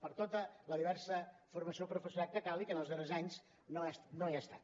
per a tota la diversa formació del professorat que calgui que en els darrers anys no hi ha estat